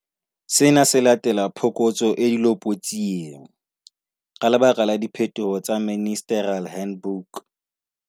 Sena se latela phokotso e dilopotsieng, ka lebaka la diphetoho tse Ministerial Handbook.